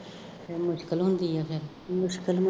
ਉਦੋਂ ਮੁਸ਼ਕਿਲ ਹੁੰਦੀ ਹੈ ਫੇਰ